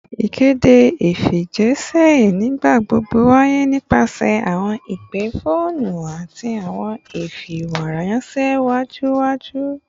Ikede ifijiṣẹ nigbagbogbo waye nipasẹ awọn ipe foonu ati awọn ifiweranṣẹ awujọ awujọ